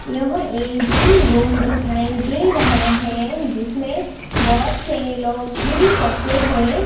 यह एक gym room दिखाई दे रहा हैं जिसमें बहोत से लोग जिम करते हुएं--